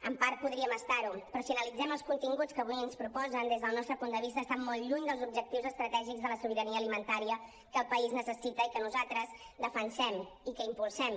en part podríem estar ne però si analitzem els continguts que avui ens proposen des del nostre punt de vista estan molt lluny dels objectius estratègics de la sobirania alimentària que el país necessita i que nosaltres defensem i que impulsem